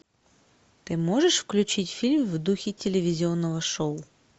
ты можешь включить фильм в духе телевизионного шоу